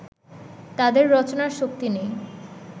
তাঁদের রচনার শক্তি নেই